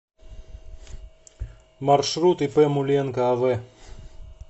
маршрут ип муленко ав